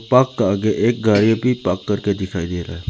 Park का आगे एक गाड़ी भी पार्क करके दिखाई दे रहा है।